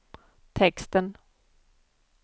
texten